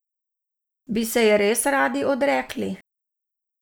Bi se je res radi odrekli?